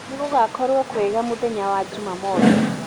olly nigugakorwo kwega mũthenya wa jũmamothĩ